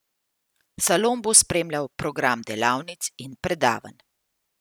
Salon bo spremljal program delavnic in predavanj.